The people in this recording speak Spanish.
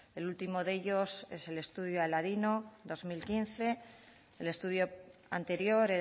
el último de ellos es el estudio aladino dos mil quince el estudio anterior